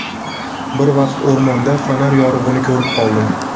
Bir vaqt o‘rmonda fonar yorug‘ini ko‘rib qoldim.